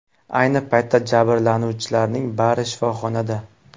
Ayni paytda jabrlanuvchilarning bari shifoxonada.